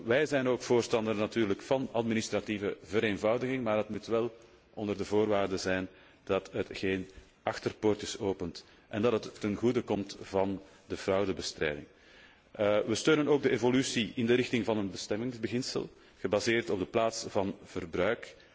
Wij zijn ook voorstander van administratieve vereenvoudiging, maar wel op voorwaarde dat het geen achterdeurtjes opent en dat het ten goede komt van de fraudebestrijding. Wij steunen ook de evolutie in de richting van een bestemmingsbeginsel, gebaseerd op de plaats van verbruik.